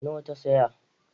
Nawa ta saya